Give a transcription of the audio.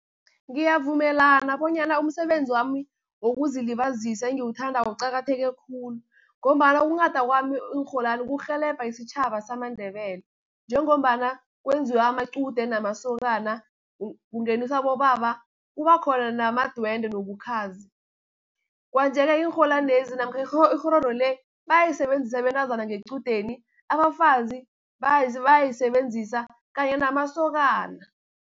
Ngiyavumelana bonyana umsebenzi wami wokuzilibazisa engiwuthandako uqakatheke khulu, ngombana ukunghada kwami iinrholwani kurhelebha isitjhaba samaNdebele, njengombana kwenziwa amaqude, namasokana, kungeniswa abobaba, kuba khona namadwendwe nobukhazi. Kwanje-ke iinrholwanezi namkha ikghororo le, bayisebenzisa abentazana ngequdeni, abafazi abayisebenzisa kanye namasokana.